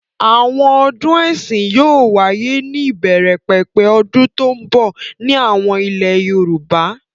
Àwọn ọdún ẹ̀sìn yóò wáyé ní ìbẹ̀rẹ̀pẹ̀pẹ̀ ọdún tó ń bọ̀ ní àwọn ilẹ̀ Yorùbá.